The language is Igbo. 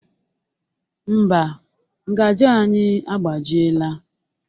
Ḿbà, ngaji anyị agbajiela.